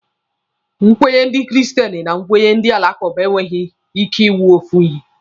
Nkwenye ndị Kristen na nkwenye ndị alakụba enweghị ike ịwụ ofe ihe.